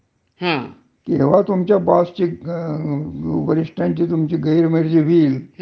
हं. म्हणजे काय होतंय कारण, ह्याच्यात सुरक्षितता म्हणजे जसे पैसेही खूप मिळतात,